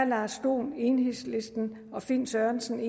lars dohn og finn sørensen